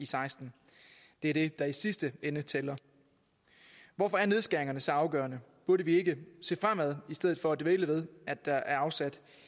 seksten det er det der i sidste ende tæller hvorfor er nedskæringer så afgørende burde vi ikke se fremad i stedet for at dvæle ved at der er afsat